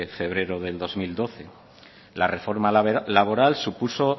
febrero de dos mil doce la reforma laboral supuso